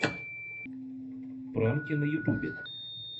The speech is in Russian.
пранки на ютубе